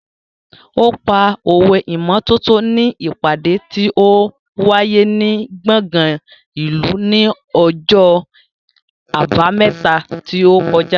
Ó pa òwe ìmọ́tótó ní ìpàdé tí ó wáyé ní gbọ̀ngàn ìlú ní ọjọ́ Àbámẹ́ta tí ó kọjá.